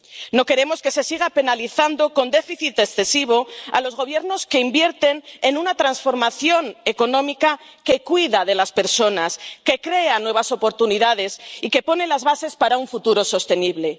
No queremos que se siga penalizando con déficit excesivo a los Gobiernos que invierten en una transformación económica que cuida de las personas, que crea nuevas oportunidades y que pone las bases para un futuro sostenible.